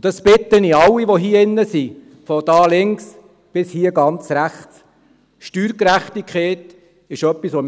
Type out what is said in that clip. Diesbezüglich bitte ich alle, die hier in diesem Saal sind, von hier links, bis dort ganz rechts: Steuergerechtigkeit ist etwas, wofür